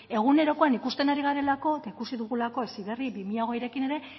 egunerokoan ikusten ari garelako eta ikusi dugu heziberri bi mila hogeirekin ere